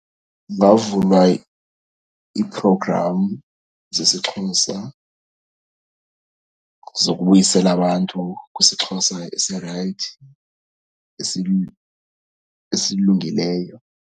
Kungavulwa ii-program zesiXhosa zokubuyisela abantu kwisiXhosa esirayithi, esilungileyo.